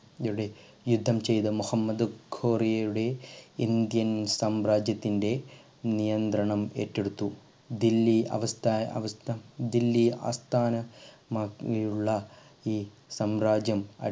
യുടെ യുദ്ധം ചെയ്ത മുഹമ്മദ് ഗോറിയുടെ ഇന്ത്യൻ സാമ്രാജ്യത്തിൻ്റെ നിയന്ത്രണം ഏറ്റെടുത്തു ദില്ലി അവസ്ഥ അവസ്ഥ ദില്ലി ആസ്ഥാന മാക്കിയുള്ള ഈ സാമ്രാജ്യം